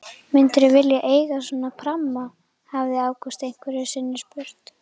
Myndirðu vilja eiga svona pramma? hafði Ágúst einhverju sinni spurt.